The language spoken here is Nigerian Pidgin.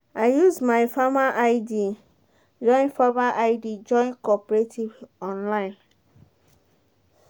i use my farmer id join farmer id join cooperative online.